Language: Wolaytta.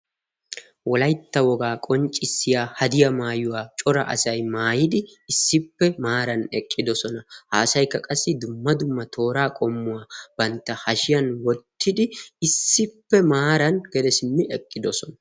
wolaytta wogaa qonccissiya hadiya maayuwaa cora asay maayidi issippe maaran eqqidosona ha asaykka qassi dumma dumma tooraa qommuwaa bantta hashiyan wottidi issippe maaran gede simmi eqqidosona